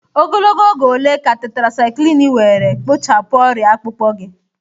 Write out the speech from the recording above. Ogologo oge ole ka Tetirasaikilinu were kpochapụ ọrịa akpụkpọ gị?